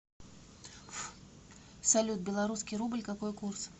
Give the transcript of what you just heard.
салют белорусский рубль какой курс